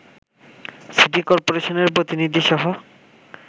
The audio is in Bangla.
সিটি কর্পোরেশনের প্রতিনিধিসহ